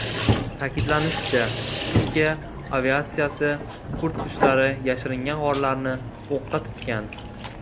Ta’kidlanishicha, Turkiya aviatsiyasi kurd kuchlari yashiringan g‘orlarni o‘qqa tutgan.